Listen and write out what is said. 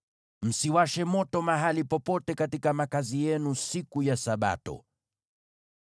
Msiwashe moto mahali popote katika makazi yenu siku ya Sabato.”